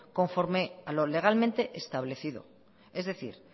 conforme a lo legalmente establecido es decir